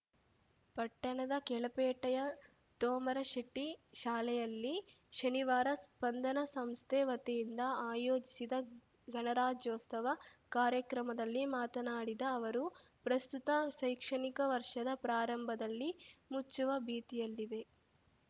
ಪಟ್ಟಣದ ಕೆಳಪೇಟೆಯ ತೋಮರಶೆಟ್ಟಿಶಾಲೆಯಲ್ಲಿ ಶನಿವಾರ ಸ್ಪಂದನ ಸಂಸ್ಥೆ ವತಿಯಿಂದ ಆಯೋಜಿಸಿದ್ದ ಗಣರಾಜ್ಯೋತ್ಸವ ಕಾರ್ಯಕ್ರಮದಲ್ಲಿ ಮಾತನಾಡಿದ ಅವರು ಪ್ರಸ್ತುತ ಶೈಕ್ಷಣಿಕ ವರ್ಷದ ಪ್ರಾರಂಭದಲ್ಲಿ ಮುಚ್ಚುವ ಭೀತಿಯಲ್ಲಿದೆ